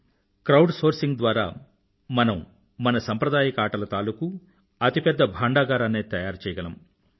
సమూహ సేకరణcrowd సోర్సింగ్ ద్వారా మనం మన సంప్రదాయక ఆటల తాలూకూ అతి పెద్ద భాండాగారాన్నేఅర్కైవ్ తయారుచేయగలం